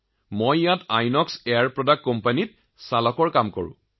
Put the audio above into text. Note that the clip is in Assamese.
আমি ইয়াত আইএনঅএক্স এয়াৰ প্ৰডাক্টত চালকৰ কাম কৰো